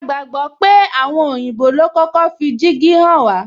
A gbodo pé àwọn òyìnbó lo kọ́kọ́ fi dígí hàn wá